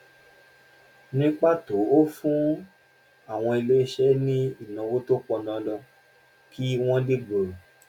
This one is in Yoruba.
ní pàtó ó ń fún àwọn iléeṣẹ́ ní ìnáwó tó pọn dandan kí wọ́n lè gbòòrò